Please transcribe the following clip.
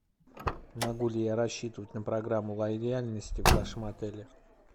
могу ли я рассчитывать на программу лояльности в вашем отеле